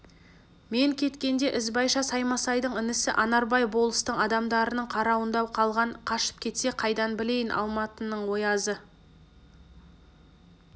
мен кеткенде ізбайша саймасайдың інісі анарбай болыстың адамдарының қарауында қалған қашып кетсе қайдан білейін алматының оязы